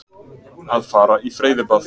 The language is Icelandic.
Að fara í freyðibað.